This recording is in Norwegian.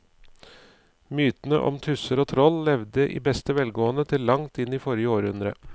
Mytene om tusser og troll levde i beste velgående til langt inn i forrige århundre.